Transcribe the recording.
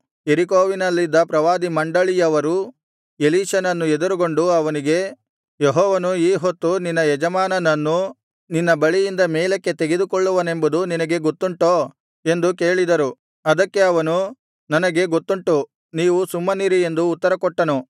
ಯೆರಿಕೋವಿನಲ್ಲಿದ್ದ ಪ್ರವಾದಿ ಮಂಡಳಿಯವರು ಎಲೀಷನನ್ನು ಎದುರುಗೊಂಡು ಅವನಿಗೆ ಯೆಹೋವನು ಈ ಹೊತ್ತು ನಿನ್ನ ಯಜಮಾನನನ್ನು ನಿನ್ನ ಬಳಿಯಿಂದ ಮೇಲಕ್ಕೆ ತೆಗೆದುಕೊಳ್ಳುವನೆಂಬುದು ನಿನಗೆ ಗೊತ್ತುಂಟೋ ಎಂದು ಕೇಳಿದರು ಅದಕ್ಕೆ ಅವನು ನನಗೆ ಗೊತ್ತುಂಟು ನೀವು ಸುಮ್ಮನಿರಿ ಎಂದು ಉತ್ತರ ಕೊಟ್ಟನು